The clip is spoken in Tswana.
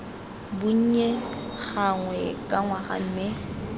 bonnye gangwe ka ngwaga mme